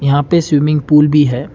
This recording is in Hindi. यहां पे स्विमिंग पूल भी है।